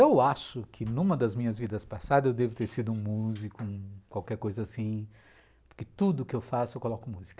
Eu acho que numa das minhas vidas passadas eu devo ter sido um músico, um... qualquer coisa assim, porque tudo que eu faço eu coloco música.